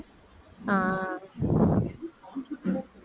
ஆஹ்